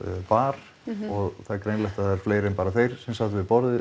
bar og það er greinilegt að það eru fleiri en bara þeir sem sátu við borðið